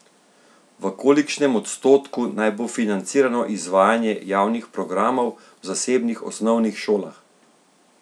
V kolikšnem odstotku naj bo financirano izvajanje javnih programov v zasebnih osnovnih šolah?